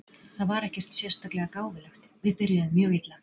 Það var ekkert sérstaklega gáfulegt! Við byrjuðum mjög illa.